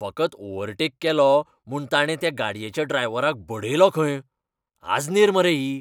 फकत ओव्हरटेक केलो म्हूण ताणे त्या गाडयेच्या ड्रायव्हराक बडयलो खंय. आजनेर मरे ही!